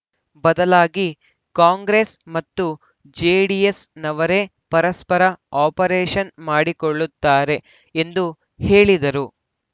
ಬದಲಾಗಿ ಕಾಂಗ್ರೆಸ್‌ ಮತ್ತು ಜೆಡಿಎಸ್‌ನವರೇ ಪರಸ್ಪರ ಆಪರೇಷನ್‌ ಮಾಡಿಕೊಳ್ಳುತ್ತಾರೆ ಎಂದು ಹೇಳಿದರು